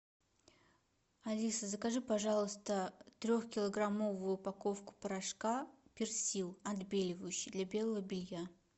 алиса закажи пожалуйста трехкилограммовую упаковку порошка персил отбеливающий для белого белья